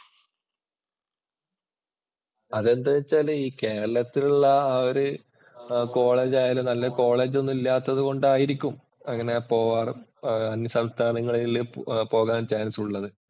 അതെന്തുവാ എന്നുവച്ചാല് ഈ കേരളത്തിലുള്ള ആ ഒരു കോളേജ് ആയാലും നല്ല കോളേജ് ഒന്നും ഇല്ലാത്തതു കൊണ്ടായിരിക്കും അങ്ങനെ പോവാറ്. അന്യസംസ്ഥാനങ്ങളിൽ പോകാന്‍ ചാന്‍സ് ഉള്ളത്.